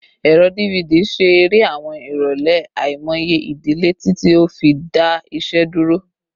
Ẹrọ DVD ṣe ere awọn irọlẹ aimọye idile titi o fi da iṣẹ duro